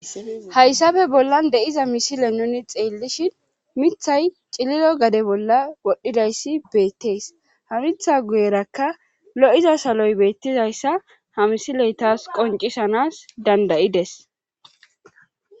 hayssappe bollan de7iza misile nuni xeellishin mithay cililo gade bolla wodhdhidayssi beettees ha mitha guyerakka lo7iza saloy beettizayssa ha misiley taas qoncisanas dandayides